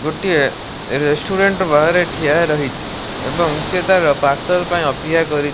ଗୋଟିଏ ରେଷ୍ଟୁରାଣ୍ଡ ବାହାରେ ଠିଆ ରହିଛି ଏବଂ ସିଏ ତାର ପାର୍ଶଲ୍ ପାଇଁ ଅପେକ୍ଷା କରି --